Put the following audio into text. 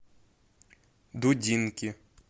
дудинки